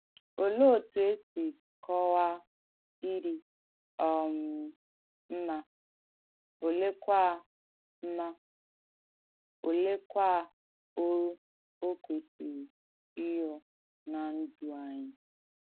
Òleè òtú è sì kọ̀waà ìdí um mmà, olèekwà mmà, olèekwà òrù ò kwèsìrì ìrụ́ ná ǹdú ànyị̣?